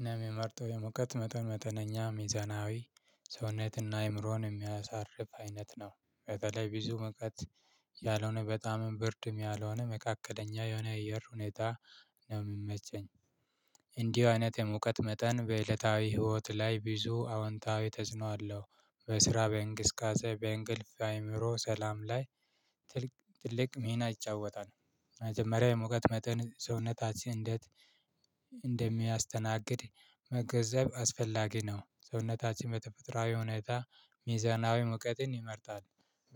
እኔም የምመርጠው የሙቀት መጠን መጥነኛ፣ ሚዛናዊ ሰውነትና አይምሮን የሚያሳርፍ አይነት ነው። በተለይ ብዙ ሙቀት ያልሆነ በጣምም ብርድም ያልሆነ መካከለኛ የሆነ የአየር ሁኔታ ነው የምመቸኝ። እንዲህ አይነት የሙቀት መጠን በእለታዊ ህይወት ላይ ብዙ አወንታዊ ተእጽኖ አለው። በስራ፣ በእንቅስቃሴ፣ በእንቅልፍ፣ ለአይምሮ ሰላም ላይ ትልቅ ትልቅ ሚና ይጫወታል። መጀመሪያ የሙቀት መጠን ሰውነታችን እንዴት እንደሚያስተናግድ ከዛም አስፈላጊ ነው። ሰውነታችን በተፈጥሮአዊ ሁኔታ ሚዛናዊ ሙቀትን ይመርጣል።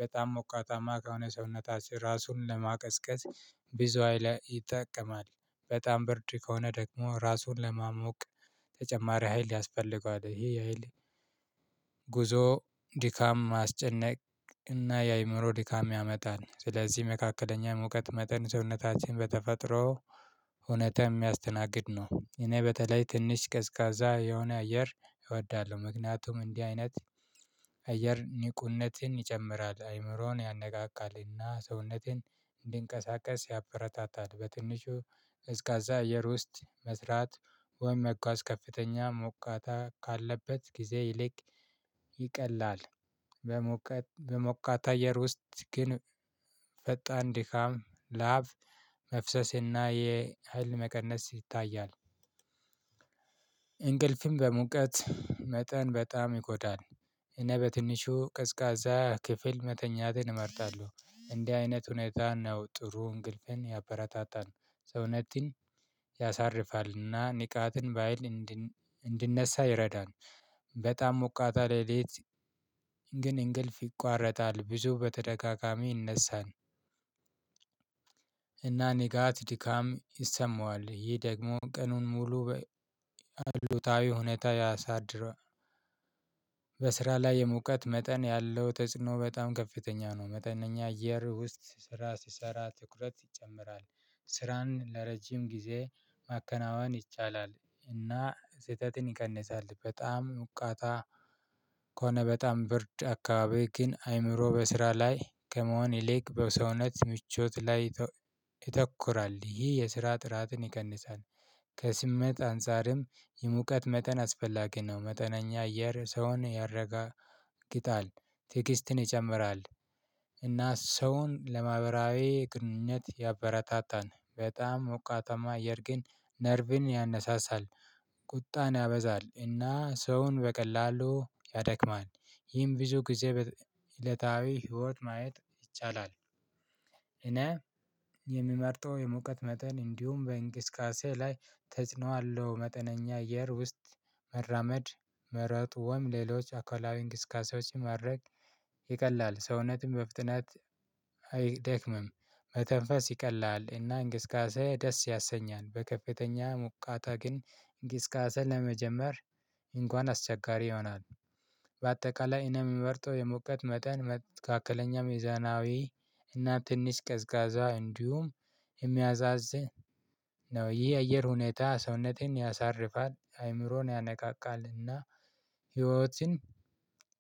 በጣም ሞቃታማ ከሆነ ሰውነታችን ራሱን ለማቀዝቀዝ ብዙ ሀይለ ይጠቀማል። በጣም ብርድ ከሆነ ደግሞ ራሱን ለማሞቅ ተጨማሪ ሀይል ያስፈልገዋል። ይሄ ያህል ጉዞ ድካም አስጨነቅ እና የአእምሮ ድካም ያመጣል። ስለዚህ መካከለኛ የሙቀት መጠን ሰውነታችን በተፈጥሮ እውነተ የሚያስተናግድ ነው። እኔ በተለይ ትንሽ ቀዝቃዛ የሆነ አየር እወዳለሁ ምክንያቱም እንዲህ አይነት አየር ንቁነትን ይጨምራል፣ አይምሮን ያነቃቃል እና ሰውነትን እንድንቀሳቀስ ያበረታታል በትንሹ ቀዝቃዛ አየር ውስጥ መስራት ወይም መጓዝ ከፍተኛ ሙቀት ካለበት ጊዜ ይልቅ ይቀላል። በሞቃት አየር ወስጥ ግን ፈጣን ድካም፣ ላብ መፍሰስ እና የሀይል መቀነስ ይታያል። እንቅልፍም በሙቀት መጠን በጣም ይጎዳል። እኔ በትንሹ ቅዝቃዛ ክፍል መተኛትን እመርጣለሁ። እንዲህ አይነት ሁኔታ ነው ጥሩ እንቅልፍን ያበረታታን፤ ሰውነትን ያሳርፋል እና ንቃትን በሃይል እንድነሳ ይረዳን። በጣም ሞቃታ ሌሊት ግን እንቅልፍ ይቋረጣል። ብዙ በተደጋጋሚ ይነሳል እና ንጋት ድካም ይሰማዋል። ይህ ደግሞ ቀኑን ሙሉ በሉታዊ ሁኔታ ያሳድረው በስራ ላይ የሙቀት መጠን ያለው ተጽዕኖ በጣም ከፍተኛ ነው። መጠነኛ አየር ውስጥ ስራ ስሰራ ትኩረት ይጨምራ፣ ስራን ለረጅም ጊዜ ማከናወን ይቻላል እና ስህተትን ይቀንሳል በጣም ሙቃታ ከሆነ በጣም ብርድ አካባቢ ግን አይምሮ በስራ ላይ ከመሆን ይልቅ በሰውነት ምቾት ላይ ይተኩራል። ይህ የስራ ጥራትን ይቀንሳል ከስሜት አንፃርም የሙቀት መጠን አስፈላጊ ነው። መጠነኛ አየር ሰውን ያረጋግጣል ትግስትን ይጨምራል። እና ሰውን ለማህበራዊ ግንኙነት ያበረታታን። በጣም ሞቃታማ አየር ግን ነርቭን ያነሳሳል፣ ቁጣን ያበዛል እና ሰውን በቀላሉ ያደክማል። ይህም ብዙጊዜ በእለታዊ ህይወት ማየት ይቻላል። እኔ የምመርጠው የሙቀት መጠን እንዲሁም በእንግስቃሴ ላይ ተጽዕኖ አለው። መጠነኛ አየር ውስጥ መራመድ መረጡም ሌሎች አካላዊ እንቅስቃሴዎች ማድረግ ይቀላል። ሰውነትም በፍጥነት አይደክምም፤ መተንፈስ ይቀላል እና እንቀስቃሴ ደስ ያሰኛል በከፍተኛ ሙቃታ ግን እንቀስቃሴ ለመጀመር እንኳን አስቸጋሪ ይሆናል። በአጠቃላይ እኔ የምመርጠው የሙቀት መጠን መትከለኛ ሜዛናዊ እና ትንሽ ቀዝቃዛ እንዲሁም የሚያዛዝህ ነው። ይህ የአየር ሁኔታ ሰውነተን ያሳርፋል፣ አይምሮን ያነቃቃል እና ህይወትን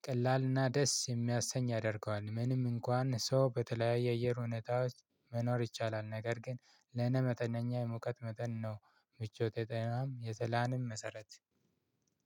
ቀላል እና ደስ የሚያሰኝ ያደርገዋል። ምንም እንኳን ሰው በተለያዩ የአየር ሁኔታዎች መኖር ይቻላል ነገር ግን ለእኔ መጠነኛ የሙቀት መጠን ነው ምቾት የጠየናም የትላንም መሰረት